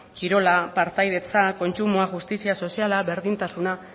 kirola partaidetza kontsumoa justizia soziala berdintasuna